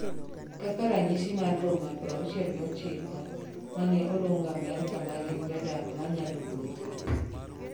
kaka ranyis mar boma 69 mane oluong Amerika ma gin jodak manyalo wuotho